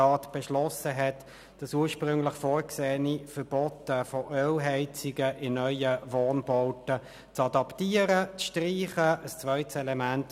Jakob Schwarz möchte sich noch zu meinem emotionalen Hinweis äussern.